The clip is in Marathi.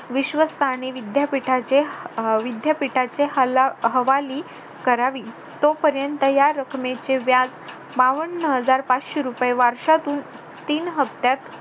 विश्वस्तांनी विद्यापीठाच्या हवाली करावी तोपर्यंत या रकमेचे व्याज बावन्न हजार पाचशे रुपये वर्षातून तीन हप्त्यात